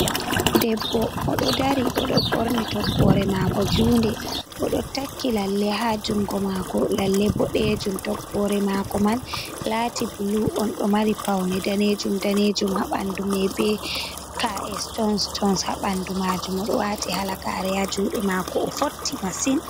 Debbo o ɗo dari, o ɗo ɓorni toggore mako junde o ɗo takki lalle ha jungo mako lalle boɗejum; toggore mako man lati blu on ɗo mari paune danejum-danejum, ha bandu mai be k’e stonstons ha ɓandu majum, o ɗo wati halagare ha juɗe mako o fotti masin.